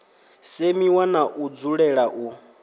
semiwa na u dzulela u